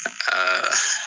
Aa